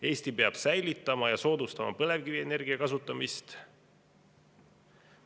Eesti peab säilitama ja soodustama põlevkivienergia kasutamist.